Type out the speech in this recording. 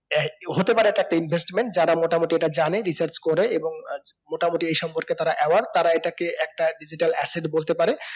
আহ হতে পারে তাতে investment যারা মোটামুটি এটা জানে research করে এবং আহ মোটামুটি এই সম্পর্কে তারা award তারা এটাকে একটা digital asset বলতে পারে